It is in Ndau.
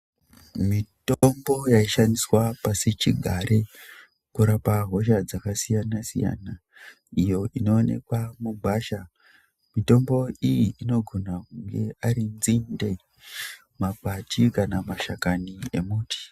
Mitombo yaishandiswa pasi chigare kurapa hosha dzakasiyana siyana iyo inonekwa mugwasha, mitombo iyi anogona iri nzinde, makwati kana mashakani emuti.